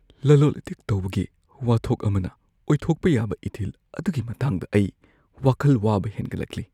ꯂꯂꯣꯟ-ꯏꯇꯤꯛ ꯇꯧꯕꯒꯤ ꯋꯥꯊꯣꯛ ꯑꯃꯅ ꯑꯣꯏꯊꯣꯛꯄ ꯌꯥꯕ ꯏꯊꯤꯜ ꯑꯗꯨꯒꯤ ꯃꯇꯥꯡꯗ ꯑꯩ ꯋꯥꯈꯜ ꯋꯥꯕ ꯍꯦꯟꯒꯠꯂꯛꯂꯤ ꯫